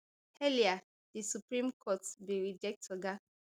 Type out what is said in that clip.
earlier di supreme court bin reject oga